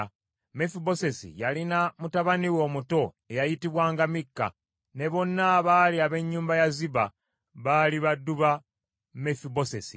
Mefibosesi yalina mutabani we omuto, eyayitibwanga Mikka, ne bonna abaali ab’ennyumba ya Ziba baali baddu ba Mefibosesi.